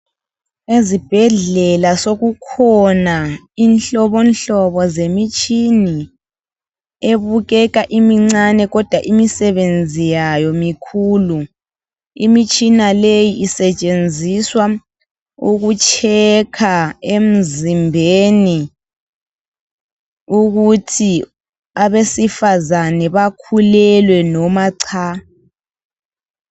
Ezibhedlela sokukhona ihlobohlobo zemitshini, ebukeka imincane kodwa imisebenzi yayo mikhuku. Imitshina leyi isetshenziswa ukukhangela emizimbeni ukuthi abesifazana bakhululwe noma cha.